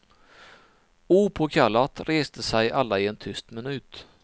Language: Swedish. Opåkallat reste sig alla i en tyst minut.